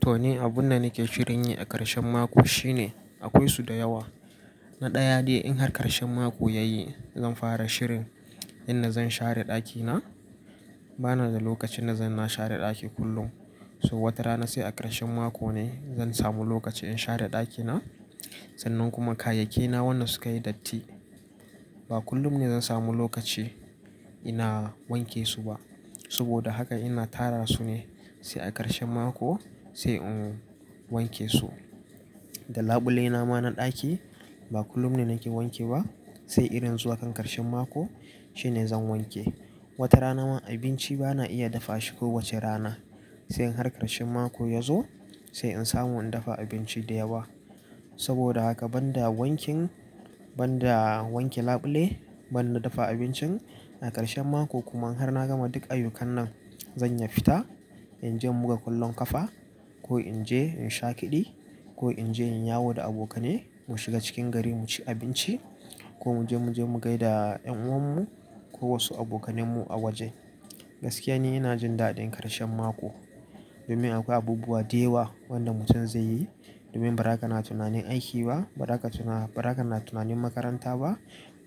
To, ni abunda nake shirin yi a ƙarshen mako, shine akwai su da yawa. Na ɗaya dai in har ƙarshen mako ya yi zan fara shirin inda zan share ɗakina. Bana da lokacin da zan na share ɗaki kullum. So wata rana sai a ƙarshen mako ne zan samu lokaci in share ɗakina. Sannan kuma kayyakena wanna suka yi datti. Ba kullum ne zan samu lokaci ina wanke su ba. Saboda haka, ina tara su ne sai a ƙarshen mako, sai in wanke su. Da labulaina ma na ɗaki, ba kullum ne nake wanke ba, sai idan zuwa kan ƙarshen mako, shine zan wanke. Wata rana ma abinci bana iya dafa shi kowace rana. Sai in har ƙarshen mako ya zo sai in samu in dafa abinci da yawa. Saboda haka banda wankin, banda wanke labule, banda dafa abincin, a ƙarshen mako kuma in har na gama duk ayyukan nan, zan iya fita, in je muka kallon kafa, ko in je in sha keɗi, ko in je in yawo da abokane mu shiga cikin gari mu ci abinci, ko mu je muje mu gaida ƴan uwan mu, ko wasu abokanen mu a waje. Gaskiya ne ina jin daɗin ƙarshen mako domin akwai abubuwa da yawa wanda mutum zai yi domin bara ka na tunanin aiki ba, ba haka ba haka na tunanin makaranta ba.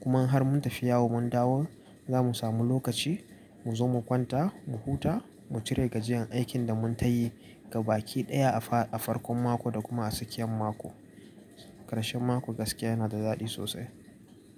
Kuma in har mun tafi yawon mun dawo zamu samu lokaci mu zo mu kwanta, mu huta, mu cire gajiyan aikin da mun tayi ga baki ɗaya a farkon mako da kuma a tsakiyan mako. Ƙarshen mako gaskiya yana da daɗi sosai.